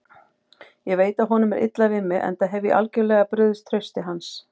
Ég veit að honum er illa við mig, enda hef ég algjörlega brugðist trausti hans.